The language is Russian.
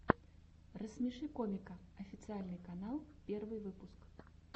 рассмеши комика официальный канал первый выпуск